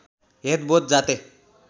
head बोध जाते